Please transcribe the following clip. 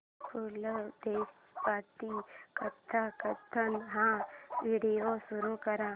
पु ल देशपांडे कथाकथन हा व्हिडिओ सुरू कर